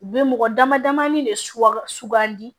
U bɛ mɔgɔ damadama de suwa sugandi